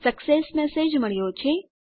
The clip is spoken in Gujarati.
સક્સેસ મેસેજ મળ્યો છે